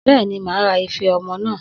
Bẹ́ẹ̀ni, màá ra ife ọmọ naa.